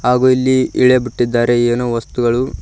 ಹಾಗು ಇಲ್ಲಿ ಇಳೆ ಬಿಟ್ಟಿದ್ದಾರೆ ಏನೋ ವಸ್ತುಗಳು--